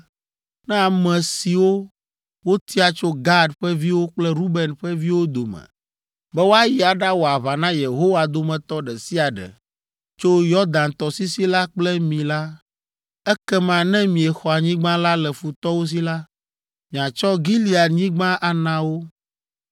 “Ne ame siwo wotia tso Gad ƒe viwo kple Ruben ƒe viwo dome be woayi aɖawɔ aʋa na Yehowa dometɔ ɖe sia ɖe tso Yɔdan tɔsisi la kple mi la, ekema ne miexɔ anyigba la le futɔwo si la, miatsɔ Gileadnyigba ana wo.